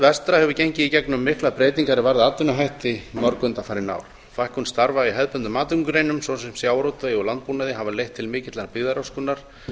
vestra hefur gengið í gegnum miklar breytingar er varða atvinnuhætti mörg undanfarin ár fækkun starfa í hefðbundnum atvinnugreinum svo sem sjávarútvegi og landbúnaði hefur leitt til mikillar byggðaröskunar